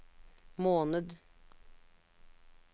måned